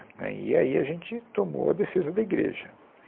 Né e aí a gente tomou a defesa da igreja.